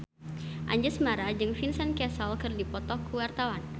Anjasmara jeung Vincent Cassel keur dipoto ku wartawan